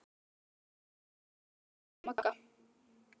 Í hvaða skóm ert þú, Magga?